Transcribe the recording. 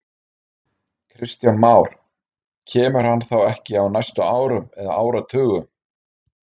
Kristján Már: Kemur hann þá ekki á næstu árum eða áratugum?